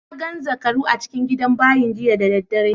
Na gan zakarai a cikin gidan bayin jiya da dare.